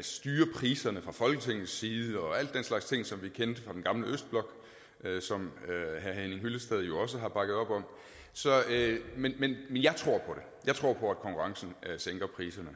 styre priserne fra folketingets side og al den slags ting som vi kendte fra den gamle østblok som herre henning hyllested jo også har bakket op om men jeg tror på at konkurrencen sænker priserne